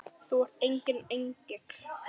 Þú ert enginn engill.